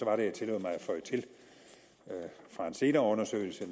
jeg tillod mig at føje til fra en senere undersøgelse at